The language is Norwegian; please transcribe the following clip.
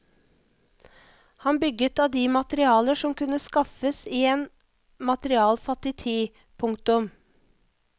Han bygget av de materialer som kunne skaffes i en materialfattig tid. punktum